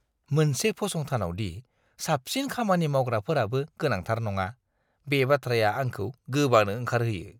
मोनसे फसंथानावदि साबसिन खामानि मावग्राफोराबो गोनांथार नङा, बे बाथ्राया आंखौ गोबानो ओंखारहोयो।